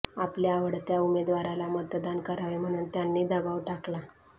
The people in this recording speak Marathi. आपल्या आवडत्या उमेदवाराला मतदान करावे म्हणून त्यांनी दबाव टाकला